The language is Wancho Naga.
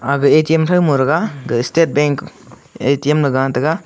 ag A_T_M thauman thega ag state bank A_T_M ley ga taga.